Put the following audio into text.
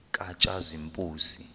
katshazimpuzi